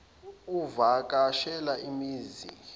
uvaka shela imizi